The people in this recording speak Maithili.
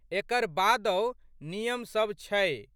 एकर बादहु नियम सब छै।